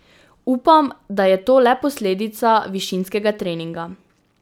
Upam, da je to le posledica višinskega treninga.